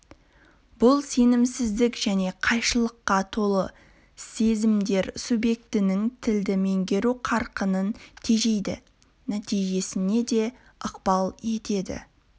бұл сенімсіздік және қайшылыққа толы сезімдер субъектінің тілді меңгеру қарқынын тежейді нәтижесіне де ықпал етеді